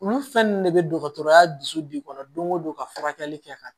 Olu fɛn nunnu de be dɔgɔtɔrɔya dusu de kɔnɔ don go don ka furakɛli kɛ ka